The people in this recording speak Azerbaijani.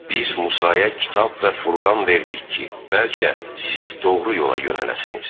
Biz Musaya Kitab və Furqan verdik ki, bəlkə siz doğru yola yönələsiniz.